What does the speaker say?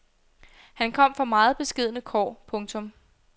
Han kom fra meget beskedne kår. punktum